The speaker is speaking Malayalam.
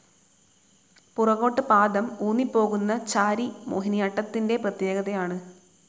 പുറകോട്ട് പാദം ഊന്നിപോകുന്ന ചാരി മോഹിനിയാട്ടത്തിൻറെ പ്രത്യേകതയാണ്.